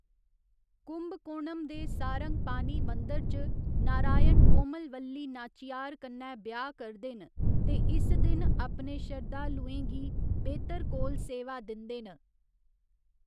कुंभकोणम दे सारंगपानी मंदर च, नारायण कोमलवल्ली नाच्चीयार कन्नै ब्याह् करदे न ते इस दिन अपने शरधालेूं गी बेह्तर कोल सेवा दिंदे न।